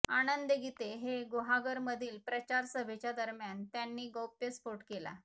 आनंद गिते हे गुहागरमधील प्रचार सभेच्या दरम्यान त्यांनी गौप्यस्फोट केला